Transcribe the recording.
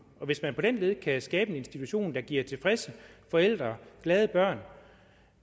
og hvis man på den led kan skabe en institution der giver tilfredse forældre og glade børn